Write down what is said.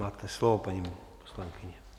Máte slovo, paní poslankyně.